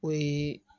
O ye